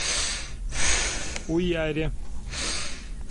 уяре